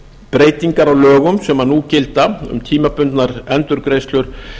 breytingar á lögum sem nú gilda um tímabundnar endurgreiðslur